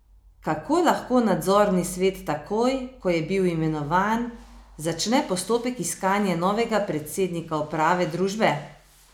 Kako lahko nadzorni svet takoj, ko je bil imenovan, začne postopek iskanja novega predsednika uprave družbe?